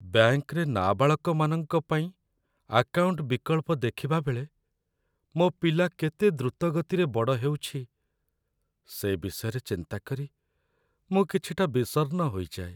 ବ୍ୟାଙ୍କରେ ନାବାଳକମାନଙ୍କ ପାଇଁ ଆକାଉଣ୍ଟ ବିକଳ୍ପ ଦେଖିବାବେଳେ, ମୋ ପିଲା କେତେ ଦ୍ରୁତ ଗତିରେ ବଡ଼ ହେଉଛି, ସେ ବିଷୟରେ ଚିନ୍ତା କରି ମୁଁ କିଛିଟା ବିଷର୍ଣ୍ଣ ହୋଇଯାଏ।